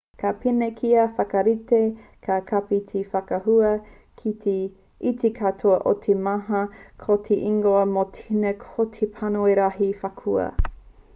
ka pēnei kia whakarite ka kapi te whakaahua i te katoa o te mata ko te ingoa mō tēnā ko te panoni rahi whakaahua